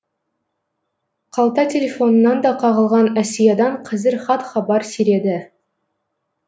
қалта телефонынан да қағылған әсиядан қызір хат хабар сиреді